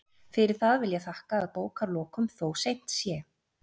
Fyrir það vil ég þakka að bókarlokum, þó seint sé.